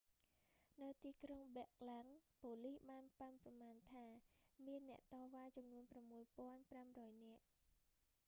នៅទីក្រុងប៊ែរឡាំង ប៉ូលិសបានប៉ាន់ប្រមាណថា មានអ្នកតវ៉ាចំនួន 6,500 នាក់